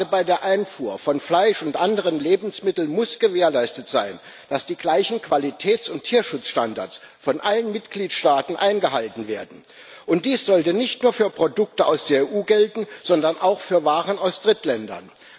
Gerade bei der Einfuhr von Fleisch und anderen Lebensmitteln muss gewährleistet sein, dass die gleichen Qualitäts und Tierschutzstandards von allen Mitgliedstaaten eingehalten werden, und dies sollte nicht nur für Produkte aus der EU gelten, sondern auch für Waren aus Drittländern.